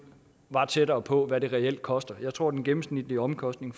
tættere på hvad det reelt koster jeg tror at den gennemsnitlige omkostning